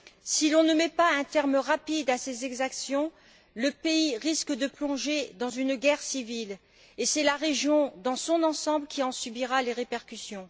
Si l'on ne met pas un terme rapide à ces exactions, le pays risque de plonger dans une guerre civile, et c'est la région dans son ensemble qui en subira les répercussions.